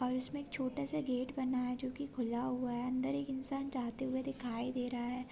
और इसमें एक छोटासा गेट बना है जो की खुला हुआ है अंदर एक इन्सान जाते हुए दिखाई दे रहा है।